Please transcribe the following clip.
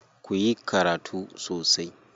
Ku yi karatu sosai.